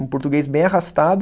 Um português bem arrastado.